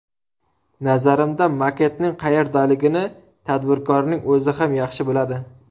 Nazarimda, maketning qayerdaligini tadbirkorning o‘zi ham yaxshi biladi.